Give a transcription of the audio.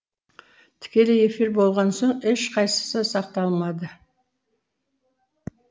тікелей эфир болған соң ешқайсысы сақталмады